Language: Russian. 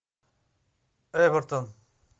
эвертон